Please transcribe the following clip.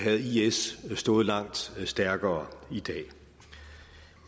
is stået langt stærkere i dag